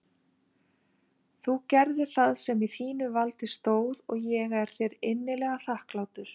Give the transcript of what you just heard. Þú gerðir það sem í þínu valdi stóð og ég er þér innilega þakklátur.